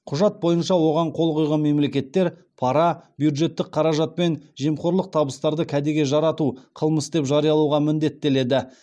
құжат бойынша оған қол қойған мемлекеттер пара бюджеттік қаражат пен жемқорлық табыстарды кәдеге жарату қылмыс деп жариялауға міндеттеледі